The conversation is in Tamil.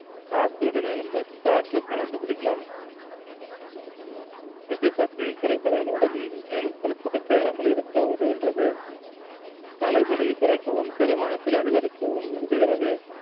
coffee யுடன் எலும்பச் சாற்று கலந்து குடிக்கலாம் இது பசியை குறைப்பதால் உடலில் மேலும் கொழுப்புகள் சேராமல் இருக்க உதவுகின்றது தலைவலியை குறைக்கவும் செரிமானத்தில் அதிகரிக்கவும் உதவுகிறது